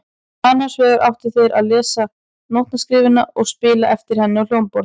Annars vegar áttu þeir að lesa nótnaskriftina og spila eftir henni á hljómborð.